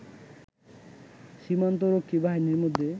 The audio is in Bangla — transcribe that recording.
সীমান্ত রক্ষী বাহিনীর মধ্যে